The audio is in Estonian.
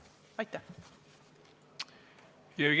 Aitäh!